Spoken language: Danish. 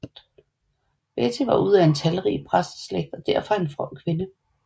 Betty var ud af talrig præsteslægt og derfor en from kvinde